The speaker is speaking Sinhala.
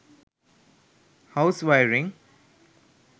house wiring